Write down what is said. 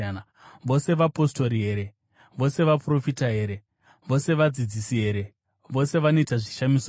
Vose vapostori here? Vose vaprofita here? Vose vadzidzisi here? Vose vanoita zvishamiso here?